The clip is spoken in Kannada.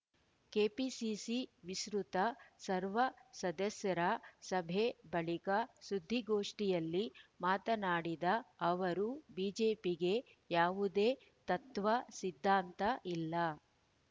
ಕೆಪಿಸಿಸಿ ವಿಸ್ತೃತ ಸರ್ವ ಸದಸ್ಯರ ಸಭೆ ಬಳಿಕ ಸುದ್ದಿಗೋಷ್ಠಿಯಲ್ಲಿ ಮಾತನಾಡಿದ ಅವರು ಬಿಜೆಪಿಗೆ ಯಾವುದೇ ತತ್ವ ಸಿದ್ಧಾಂತ ಇಲ್ಲ